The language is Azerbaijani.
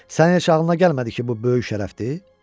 Sənin heç ağlına gəlmədi ki, bu böyük şərəfdir?